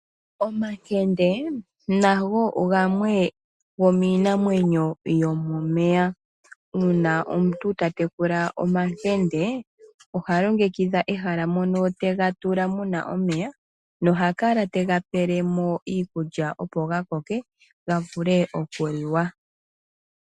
Omankende nago gamwe gomiinamwenyo yomomeya. Uuna omuntu ta tekula omankende, oha longekidha ehala mono te ga tula mu na omeya, noha kala te ga pele mo iikulya opo ga koke, ga vule okuliwa.